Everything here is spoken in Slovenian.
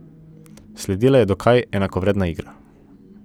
Sledila je dokaj enakovredna igra.